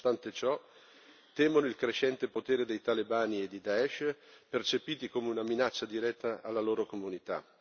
Ma nonostante ciò temono il crescente potere dei talebani e di Daish, percepiti come una minaccia diretta alla loro comunità.